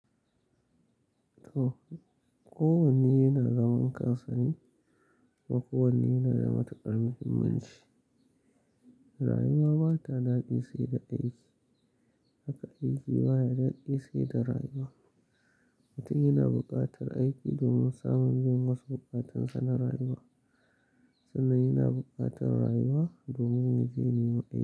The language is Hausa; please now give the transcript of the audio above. To, kowanne yana zaman kansane wa kowanne yana da matukar muhimmanci. Rayuwa ba ta daɗi sai da aiki, haka aiki baya daɗi sai da rayuwa. Mutum yana buƙatar aiki domin samun jin wasu buƙatun sa na rayuwa sannan yana buƙatar rayuwa domin wajen neman aiki.